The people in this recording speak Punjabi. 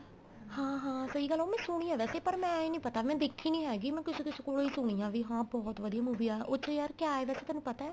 ਹਾਂ ਹਾਂ ਸਹੀ ਗੱਲ ਆ ਉਹ ਮੈਂ ਸੁਣੀ ਏ ਵੈਸੇ ਪਰ ਮੈਂ ਇਹ ਨੀਂ ਪਤਾ ਮੈਂ ਦੇਖੀ ਨੀਂ ਹੈਗੀ ਮੈਂ ਕਿਸੇ ਦੇ ਕੋਲੋ ਈ ਸੁਣੀ ਆ ਵੀ ਹਾਂ ਬਹੁਤ ਵਧੀਆ movie ਆ ਉੱਥੇ ਯਾਰ ਕਿਆ ਵੈਸੇ ਤੈਨੂੰ ਪਤਾ